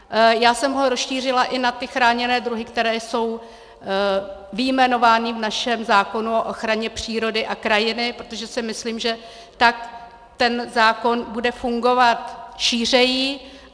Já jsem ho rozšířila i na ty chráněné druhy, které jsou vyjmenovány v našem zákonu o ochraně přírody a krajiny, protože si myslím, že tak ten zákon bude fungovat šířeji.